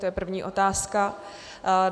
To je první otázka.